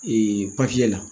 Ee la